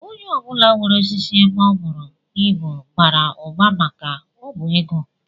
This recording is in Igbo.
Onye ọ bụla nwere osisi ebe o buru ibu bara ụba maka na ọ bụ ego